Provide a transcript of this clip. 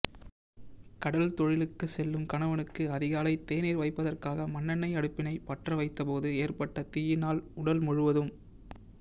கடல் தொழிலுக்கு செல்லும் கணவனுக்கு அதிகாலை தேநீர் வைப்பதற்காக மண்ணெண்ணெய் அடுப்பினை பற்ற வைத்தபோது ஏற்பட்ட தீயினால் உடல் முழுவதும்